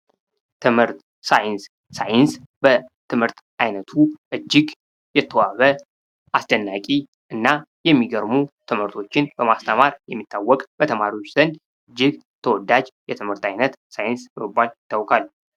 ትምህርት ሳይንስ በትምህርት አይነቱ እጅግ የተዋበ አስደናቂ እና የሚገርሙ ትምህርቶችን በማስተማር የሚታወቅ በተማሪዎች ዘንድ እጅግ ተወዳጅ የትምህርት ዓይነት ሳይንስ በመባል ይታወቃል።